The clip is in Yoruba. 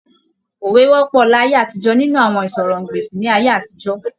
Òwe wọ́pọ̀ láyé àtijọ́ nínú àwọn ìsọ̀rọ̀-n-gbèsì ní ayé àtijọ́.